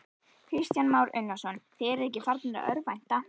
Kristján Már Unnarsson: Þið eruð ekki farnir að örvænta?